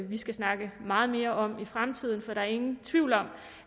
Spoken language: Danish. vi skal snakke meget mere om i fremtiden for der er ingen tvivl om